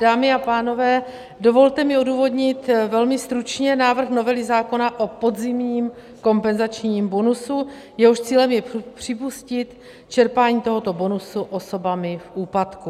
Dámy a pánové, dovolte mi odůvodnit velmi stručně návrh novely zákona o podzimním kompenzačním bonusu, jehož cílem je připustit čerpání tohoto bonusu osobami v úpadku.